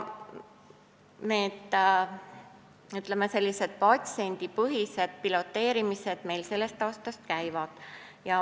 Sellised, ütleme, patsiendipõhised piloteerimised meil sellest aastast käivad.